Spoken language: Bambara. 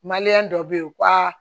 dɔ be yen u ka